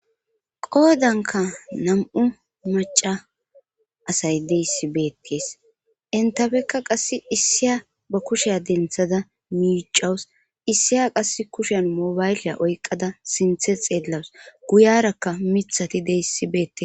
Qoodanka na'u maca asay deyssi beetkees entafekka qasse issiya ba kusheya denthada miicawus issiya qass kushen mobaylya oyqada sinthe xeellawus guyarakka mithati deyssi beetee.